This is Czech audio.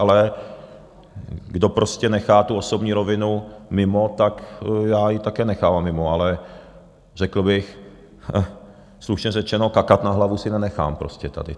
Ale kdo prostě nechá tu osobní rovinu mimo, tak já ji také nechávám mimo, ale řekl bych, slušně řečeno, kakat na hlavu si nenechám prostě tady.